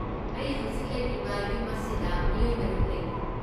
ꯑꯩ ꯍꯧꯖꯤꯛ ꯂꯩꯔꯤꯕ ꯌꯨꯝ ꯑꯁꯤꯗ ꯃꯤꯑꯣꯏ ꯇꯔꯨꯛ ꯂꯩꯔꯤ꯫